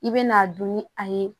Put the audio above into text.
I bɛ n'a dun ni a ye